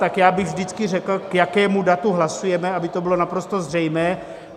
Tak já bych vždycky řekl, k jakému datu hlasujeme, aby to bylo naprosto zřejmé.